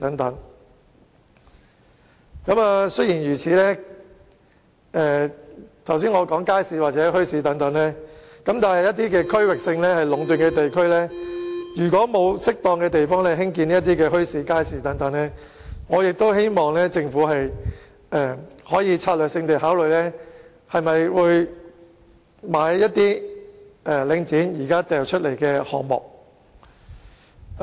儘管我剛才提到設立街市或墟市，但如果一些出現區域性壟斷的地區沒有適當的地方興建這些設施，我希望政府可以考慮策略性地購買領展現時發售的一些項目。